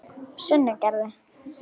Sunnugerði